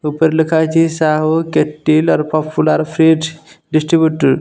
ଉପରେ ଲେଖା ହେଇଛି Sahu kettle or popular fridge distributed.